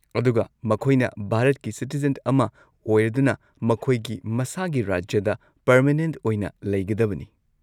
ꯑꯗꯨꯒ ꯃꯈꯣꯏꯅ ꯚꯥꯔꯠꯀꯤ ꯁꯤꯇꯤꯖꯦꯟ ꯑꯃ ꯑꯣꯏꯔꯗꯨꯅ ꯃꯈꯣꯏꯒꯤ ꯃꯁꯥꯒꯤ ꯔꯥꯖ꯭ꯌꯥꯗ ꯄꯔꯃꯦꯅꯦꯟꯠ ꯑꯣꯏꯅ ꯂꯩꯒꯗꯕꯅꯤ꯫